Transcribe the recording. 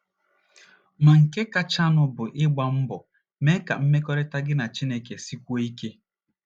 Ma, nke kachanụ bụ ịgba mbọ mee ka mmekọrịta gị na Chineke sikwuo ike.